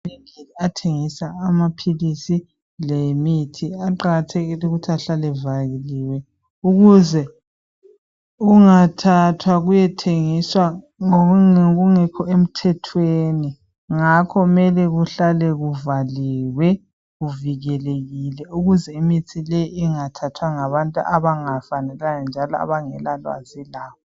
Amavinkili athengisa amaphilisi lemithi aqakathekile ukuthi ahlale evaliwe ukuze kungathathwa kuyethengiswa ngokungekho emthethweni ngakho kumele kuhlale kuvaliwe kuvikelekile ukuze imithi le inhathathwa ngabantu abangafanelanga njalo abangela lwazi layo.